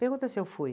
Pergunta se eu fui.